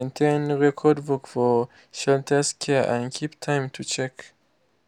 maintain record book for shelters care and keep time to check.